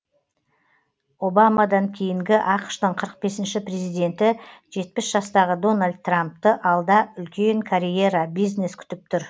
обамадан кейінгі ақш ң қырық бесінші президенті жетпіс жастағы дональд трампты алда үлкен карьера бизнес күтіп тұр